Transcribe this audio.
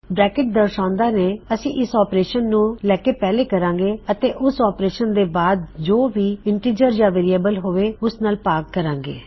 brackets ਦਰਸ਼ਾਉੰਦਿਆਂ ਨੇ ਅਸੀਂ ਇਸ ਆਪਰੇਸ਼ਨ ਨੂੰ ਲੈਕੇ ਪਹਿਲੇ ਕਰਾਂਗੇ ਅਤੇ ਉਸ ਆਪਰੇਸ਼ਨ ਤੇ ਬਾਦ ਜੋ ਵੀ ਇਨਟਿਜਰ ਯਾ ਵੇਅਰਿਏਬਲ ਹੋਵੇ ਓਸ ਨਾਲ ਭਾਗ ਕਰਾਂਗੇ